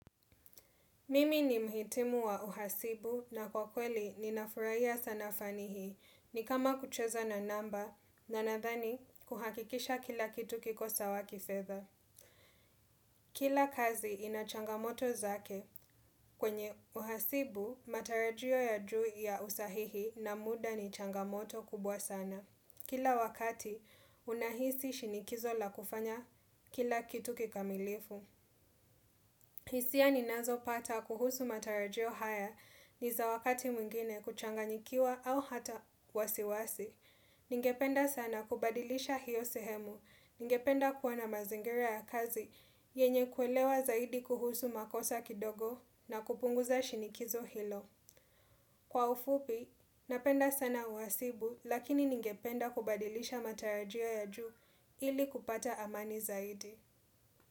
Mimi ni mhitimu wa uhasibu na kwa kweli ninafurahia sana fani hii ni kama kucheza na namba na nadhani kuhakikisha kila kitu kikosa wa kifedha. Kila kazi inachangamoto zake kwenye uhasibu matarajio ya juu ya usahihi na muda ni changamoto kubwa sana. Kila wakati unahisi shinikizo la kufanya kila kitu kikamilifu. Hisia ni nazo pata kuhusu matarajio haya ni za wakati mwingine kuchanganyikiwa au hata wasiwasi. Ningependa sana kubadilisha hiyo sehemu. Ningependa kuwa na mazingira ya kazi yenye kuelewa zaidi kuhusu makosa kidogo na kupunguza shinikizo hilo. Kwa ufupi, napenda sana uwasibu lakini ningependa kubadilisha matarajio ya juu ili kupata amani zaidi.